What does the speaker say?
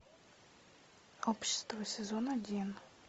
общество сезон один